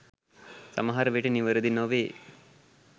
සමහරවිට නිවැරදි නොවේ.